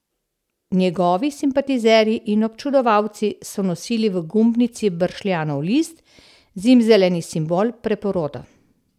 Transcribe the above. Njegovi simpatizerji in občudovalci so nosili v gumbnici bršljanov list, zimzeleni simbol preporoda.